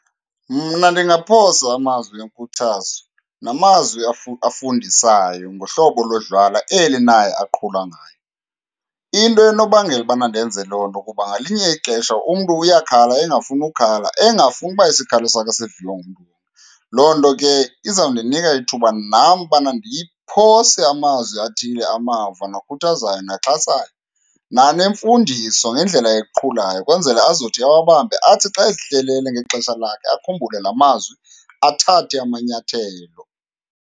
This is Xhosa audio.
Mna ndingaphosa amazwi enkuthazo namazwi afundisayo ngohlobo lodlala eli naye aqhula ngayo. Into enobangela ubana ndenze loo nto kuba ngelinye ixesha umntu uyakhala engafuni ukhala, engafuni uba isikhalo sakhe siviwe ngumntu . Loo nto ke izawundinika ithuba nam ubana ndiphose amazwi athile amava nakukhuthazayo naxhasayo, nanemfundiso ngendlela eqhulayo kwenzela azothi awabambe, athi xa ezihlelele ngexesha lakhe akhumbule laa mazwi, athathe amanyathelo.